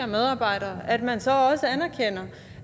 medarbejdere at man så også anerkender